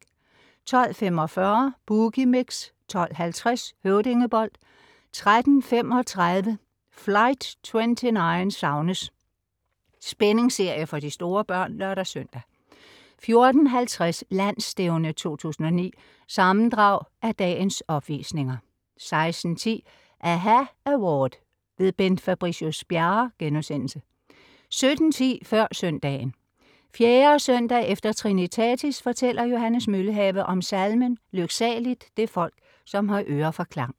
12.45 Boogie Mix 12.50 Høvdingebold 13.35 Flight 29 savnes! Spændingsserie for de store børn (lør-søn) 14.50 Landsstævne 2009. Sammendrag af dagens opvisninger 16.10 aHA Award - Bent Fabricius-Bjerre* 17.10 Før søndagen. 4. søndag efter trinitatis fortæller Johannes Møllehave om salmen "Lyksaligt det folk, som har øre for klang"